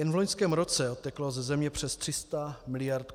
Jen v loňském roce odteklo ze země přes 300 miliard.